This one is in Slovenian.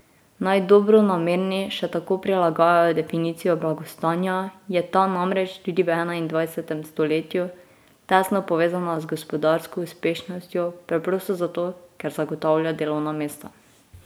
Naj dobronamerni še tako prilagajajo definicijo blagostanja, je ta namreč tudi v enaindvajsetem stoletju tesno povezana z gospodarsko uspešnostjo preprosto zato, ker zagotavlja delovna mesta.